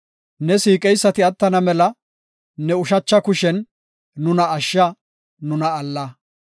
Ne siiqeysati attana mela, ne ushacha kushen nuna ashsha; nuna alla.